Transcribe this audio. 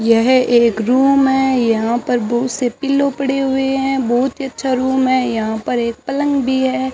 यह एक रूम है यहां पर बहुत से पिल्लो पड़े हुए हैं बहुत ही अच्छा रूम है यहां पर एक पलंग भी है।